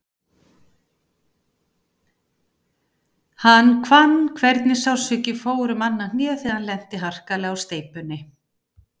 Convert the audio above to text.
Hann fann hvernig sársauki fór um annað hnéð þegar hann lenti harkalega á steypunni.